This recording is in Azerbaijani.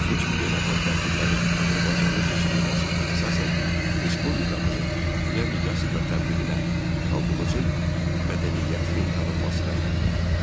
Bu kimi beynəlxalq tədbirlərin Azərbaycanda keçirilməsi əsasən respublikamızın dünya miqyasında təbliğinə, xalqımızın mədəniyyətinin tanınmasına xidmət edir.